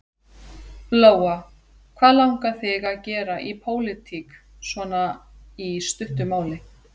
Lóa: Hvað langar þig að gera í pólitík svona í stuttu máli?